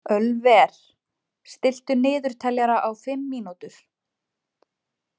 Ölver, stilltu niðurteljara á fimm mínútur.